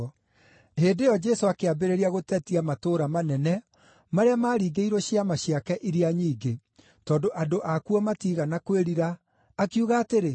Hĩndĩ ĩyo Jesũ akĩambĩrĩria gũtetia matũũra manene marĩa maaringĩirwo ciama ciake iria nyingĩ, tondũ andũ akuo matiigana kwĩrira, akiuga atĩrĩ,